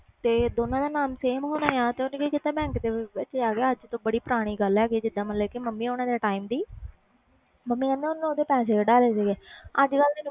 ਤੇ ਦੋਨਾਂ ਦੇ ਨਾਮ same ਸੀ ਅਜ ਤੋਂ ਕਾਫੀ ਪੁਰਾਣੀ ਗੱਲ ਹੈ ਗਈ ਆ ਮੰਮੀ ਹੁਣੇ time ਤੇ ਦੀ ਮੰਮੀ ਕਹਿੰਦੇ ਸੀ ਓਹਨੇ ਓਹਦੇ ਪੈਸੇ ਕੱਢ ਵਾਲੇ ਸੀ